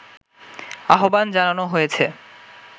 আহবান জানানো হয়েছে